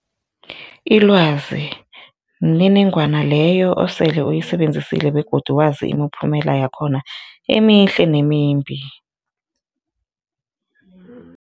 Ilwazi mniningwana leyo osele uyisebenzisile begodu wazi imiphumela yakhona emihle nemimbi.